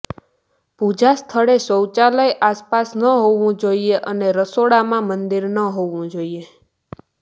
પૂજા સ્થળે શૌચાલય આસપાસ ન હોવું જોઈએ અને રસોડામાં મંદિર ન હોવું જોઈએ